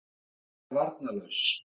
Ég er varnarlaus.